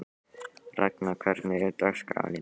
Ragna, hvernig er dagskráin í dag?